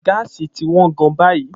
Gáàsì ti wọ́n gan-an báyìí.